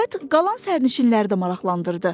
Söhbət qalan sərnişinləri də maraqlandırdı.